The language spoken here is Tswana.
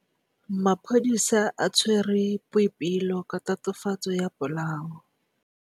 Maphodisa a tshwere Boipelo ka tatofatsô ya polaô.